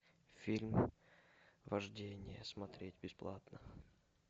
фильм вождение смотреть бесплатно